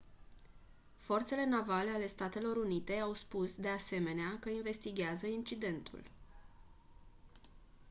forțele navale ale statelor unite au spus de asemenea că investighează incidentul